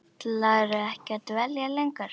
Ætlarðu ekki að dvelja lengur?